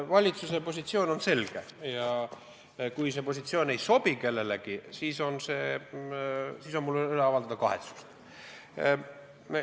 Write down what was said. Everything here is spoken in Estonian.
Valitsuse positsioon on selge ja kui see positsioon ei sobi kellelegi, siis jääb mul üle avaldada kahetsust.